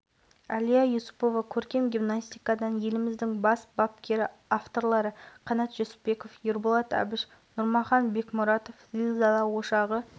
инфляция аталған дәліз шегінде болады және жыл бойы экономикаға тосын кері әсер болмаған жағдайда сақталады